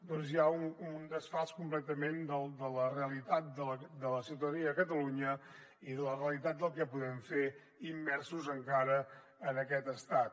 doncs hi ha un desfasament completament de la realitat de la ciutadania de catalunya i la realitat del que podem fer immersos encara en aquest estat